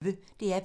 DR P1